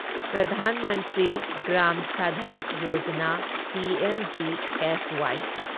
ꯄ꯭ꯔꯙꯥꯟ ꯃꯟꯇ꯭ꯔꯤ ꯒ꯭ꯔꯥꯝ ꯁꯗꯛ ꯌꯣꯖꯥꯅꯥ ꯄꯤꯑꯦꯝꯖꯤꯑꯦꯁꯋꯥꯢ